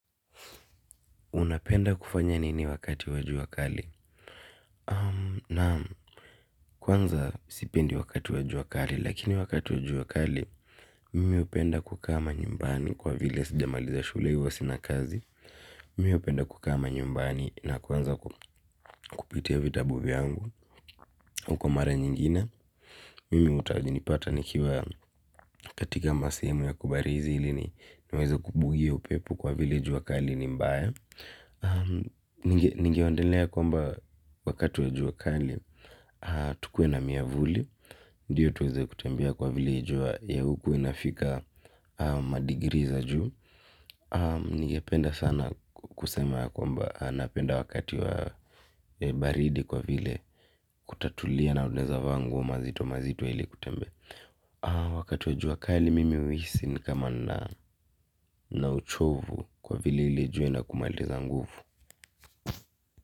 Unapenda kufanya nini wakati wa jua kali? Naam kwanza sipendi wakati wa jua kali lakini wakati wa jua kali mimi hupenda kukaa manyumbani kwa vile sijamaliza shule huwa sina kazi. Mimi hupenda kukaa manyumbani na kuanza kupitia vitabu vyangu. Huko mara nyingine mimi hutanipata nikiwa katika masehemu ya kubarizi ili ni niweze kubugia upepo kwa vile jua kali ni mbaya. Ningeondelea kwamba wakati wa jua kali tukuwe na miavuli. Ndiyo tuweze kutembea kwa vile jua ya huku inafika madigiri za juu. Ningependa sana kusema ya kwamba napenda wakati wa baridi kwa vile kutatulia na unaweza vaa nguo mazito mazito ili kutembea. Wakati wa jua kali mimi huhisi ni kama na nina uchovu kwa vile ile jua inakumaliza nguvu.